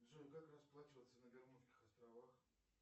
джой как расплачиваться на бермудских островах